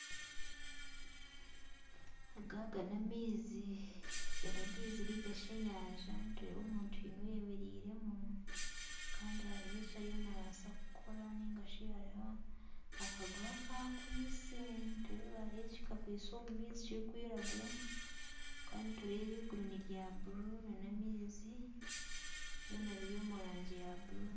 Aga aga n'amaizi, aga n'amaizi nainga shi enyanja nitureeba omuntu haine oyemereiremu, kandi hariho eki ariyo nabaasa kukora, nainga shi hariho akaguha aku akwaitse. Nitureeba hariho eki kakwaitse omu maizi kirikwiragura, ahakuba nitureeba iguru ni rya bururu n'amaizi byona biri omu rangi ya bururu.